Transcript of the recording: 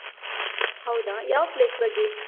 ಹೌದಾ! ಯಾವ place ಬಗ್ಗೆ?